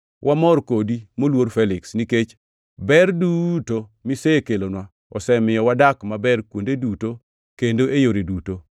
Wamor kodi, moluor Feliks, nikech ber duto misekelonwa, osemiyo wadak maber kuonde duto kendo e yore duto.